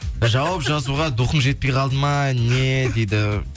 жауап жазуға духың жетпей қалды ма не дейді